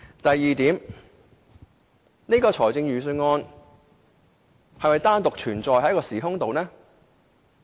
第二，預算案是否單獨存在於一個時空內的呢？